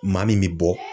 Maa min bɛ bɔ